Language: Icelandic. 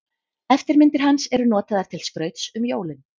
Eftirmyndir hans eru notaðar til skrauts um jólin.